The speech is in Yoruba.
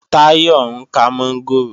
Táyọ̀ ń kán mọ́ngòrò